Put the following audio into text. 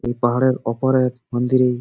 এই পাহাড়ের ওপরে মন্দির ই --